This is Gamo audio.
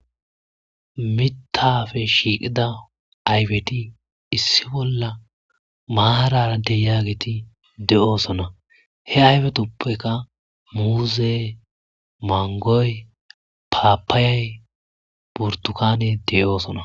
mitafe shiiqida aybeti issi bolla maararadeyaageti de7oosona he aybetoppeka muuze mangoy paapaayay burtukane de7oosona